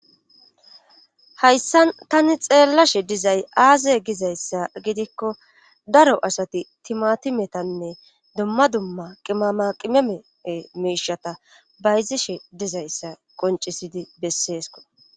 hayssa tani xeellashe dizay aaze gizayssa gidikko daro asati timatimetanne dumma dumma qimama qimemee miishata bayzishe dizayssa qoncisidi besseesko